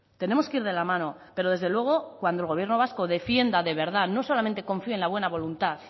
tenemos que ir de la mano pero desde luego cuando el gobierno vasco defienda de verdad no solamente confíe en la buena voluntad